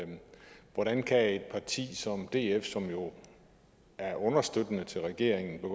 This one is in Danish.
hvordan kan et parti som df som jo er understøttende til regeringen